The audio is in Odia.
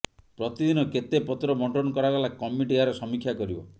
ପ୍ରତିଦିନ କେତେ ପତ୍ର ବଣ୍ଟନ କରାଗଲା କମିଟି ଏହାର ସମୀକ୍ଷା କରିବ